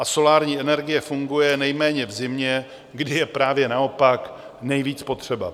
A solární energie funguje nejméně v zimě, kdy je právě naopak nejvíc potřeba.